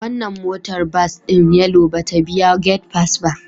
Wannan motar bas din Yellow ba ta biya gate pass ba